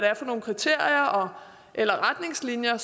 er for nogle kriterier eller retningslinjer